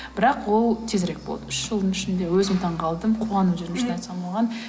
бірақ ол тезірек болды үш жылдың ішінде өзім таңғалдым қуанып жүрмін шын айтсам оған